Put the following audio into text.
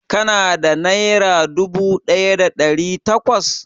Ka na da nera dubu ɗaya da ɗari takwas?